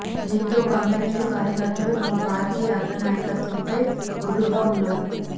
దీంతో కమ్యూనిస్టు కార్యకర్తలు తమ పార్టీ అగ్ర నాయకత్వంపై గుర్రుగా ఉన్నారు